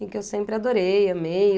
E que eu sempre adorei, amei.